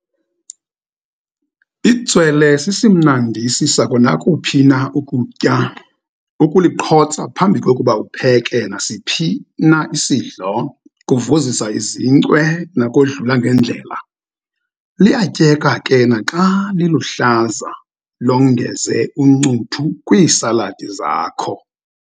Itswele sisimnandisi sakonakuphi na ukutya, ukuliqhotsa phambi kokuba upheke nasiphi na isidlo, kuvuzisa izincwe nakodlula ngeendlela. Luyatyeka ke naxa liluhlaza, longeze uncuthu kwiisaladi zakho.